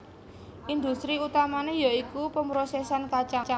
Industri utamané ya iku pemrosèsan kacang